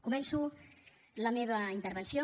començo la meva intervenció